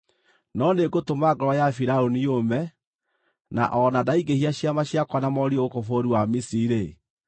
No nĩngũtũma ngoro ya Firaũni yũme, na o na ndaingĩhia ciama ciakwa na morirũ gũkũ bũrũri wa Misiri-rĩ,